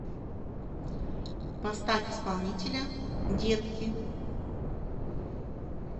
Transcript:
поставь исполнителя детки